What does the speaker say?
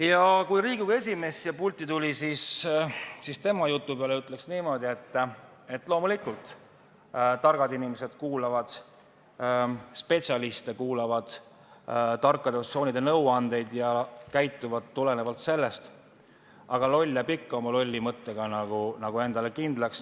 Ja kui Riigikogu esimees siia pulti tuli, siis tema jutu peale ütleks niimoodi, et loomulikult, targad inimesed kuulavad spetsialiste, kuulavad tarkade organisatsioonide nõuandeid ja käituvad neid arvesse võttes, aga loll jääb ikka oma lolli mõttega endale kindlaks.